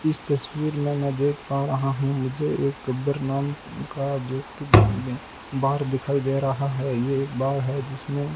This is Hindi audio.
इस तस्वीर में मैं देख पा रहा हूं मुझे एक गब्बर नाम का व्यक्ती बार में बार दिखाई दे रहा है ये एक बार है जिसमें --